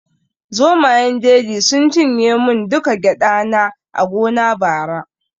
Zomayen jeji sun cinye mun duka gyada na a gona bara